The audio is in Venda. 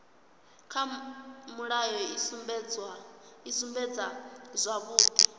kha mulayo i sumbedza zwavhudi